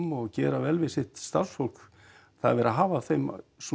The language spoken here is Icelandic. og gera vel við sitt starfsfólk það er verið að hafa af þeim